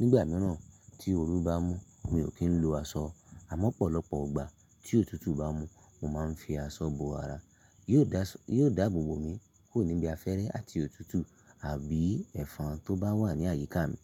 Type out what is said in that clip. Nígbà mìíràn tí oru bá mú, mi ò kí ń lo aṣọ. Àmọ́ pọ̀lọpọ̀ ọgbà tí òtútù bá mú, mo máa ń fi aṣọ bo ara. Yóò dáàbò bo mi kúrò níbi afẹ́rẹ́ àti òtútù àbí ẹ̀fọn tó bá wà ní àyíká mi.